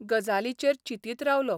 गजालीचेर चिंतीत रावलों...